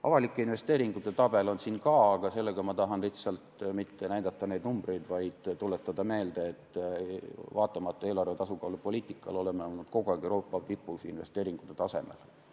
Avalike investeeringute tabel on siin ka, aga ma ei taha mitte lihtsalt näidata neid numbreid, vaid tuletada meelde, et vaatamata eelarve tasakaalu poliitikale, oleme olnud kogu aeg Euroopa tipus investeeringute taseme poolest.